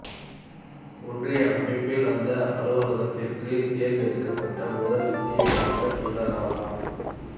ஒன்றிய அமைப்பில் அந்த அலுவலகத்திற்கு தேர்ந்தெடுக்கப்பட்ட முதல் இந்திய மாணவர் இவராவார்